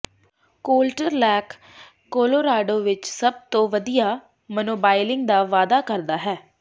Colter lake Colorado ਵਿਚ ਸਭ ਤੋਂ ਵਧੀਆ ਸਨੋਬਾਈਲਿੰਗ ਦਾ ਵਾਅਦਾ ਕਰਦਾ ਹੈ